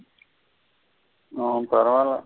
ம் பரவில்ல.